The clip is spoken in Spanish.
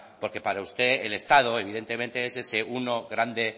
porque para usted el estado evidentemente es ese uno grande